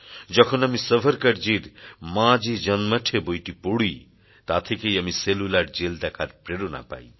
যখন আমি সাভারকরজীর মাঁজী জন্মঠে বইটি পড়ি তা থেকেই আমি সেলুলার জেল দেখার প্রেরণা পাই